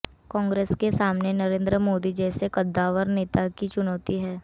कांग्रेस के सामने नरेंद्र मोदी जैसे कद्दावर नेता की चुनौती है